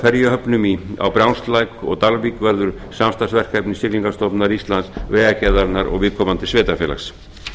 uppbygging á ferjuhöfnum á brjánslæk og dalvík verður samstarfsverkefni siglingastofnunar íslands vegagerðarinnar og viðkomandi sveitarfélags